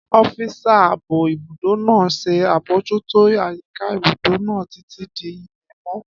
Ọ́físà ààbò ibùdó náà ṣe àbojútó àyíká ibùdó náà títí di ilẹ̀mọ́